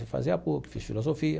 Fui fazer a PUC, fiz filosofia.